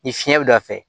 Ni fiɲɛ bɛ don a fɛ